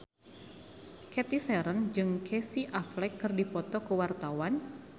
Cathy Sharon jeung Casey Affleck keur dipoto ku wartawan